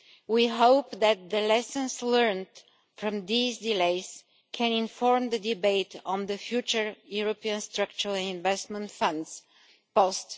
We hope that the lessons learned from these delays can inform the debate on the future European structural and investment funds post